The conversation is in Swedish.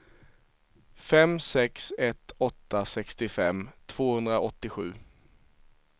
fem sex ett åtta sextiofem tvåhundraåttiosju